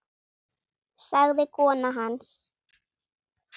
sagði kona hans.